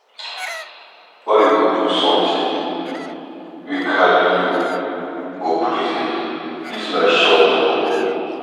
Why you go do something wey carry you go prison ?Dis life short oo.